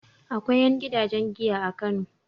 Akwai ƴan gidajen giya a Kano.